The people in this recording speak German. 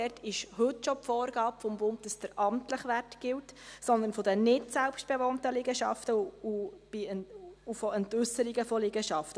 Dort besteht heute schon die Vorgabe des Bundes, dass der amtliche Wert gilt, sondern von den nichtselbstbewohnten Liegenschaften und von Entäusserungen von Liegenschaften.